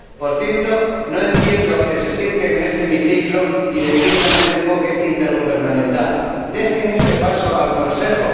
Por cierto, no entiendo que se sienten en este hemiciclo y defiendan un enfoque intergubernamental. Dejen ese paso al Consejo